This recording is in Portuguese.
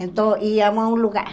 Então, íamos a um lugar.